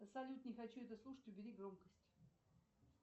салют не хочу это слушать убери громкость